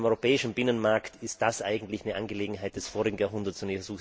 In einem europäischen Binnenmarkt ist das eigentlich eine Angelegenheit des vorigen Jahrhunderts.